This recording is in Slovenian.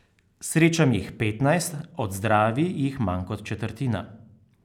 Srečam jih petnajst, odzdravi jih manj kot četrtina.